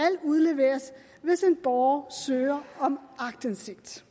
udleveres hvis en borger søger om aktindsigt